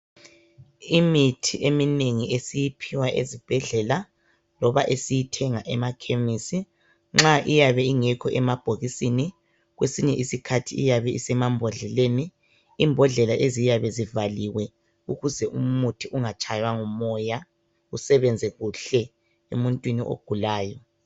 Imithi eminengi esiyiphiwa Ezibhedlela, loba esiyithenga emakhemisi nxa iyabe ingekho emabhokisini, kwesisinye isikhathi iyababe isemambodleleni imbodlela eziyabe zivaliwe, ukuze umuthi ungatshaywa ngumoya, usebenze kuhle emuntwini ogulayo.